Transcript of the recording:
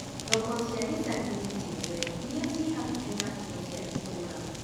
thoko cĩa gĩcagi-inĩ ciothe iria cĩ hakũhi na Ido cia itũũra